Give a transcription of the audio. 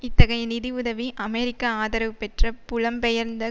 இத்தகைய நிதி உதவி அமெரிக்க ஆதரவு பெற்ற புலம் பெயர்ந்த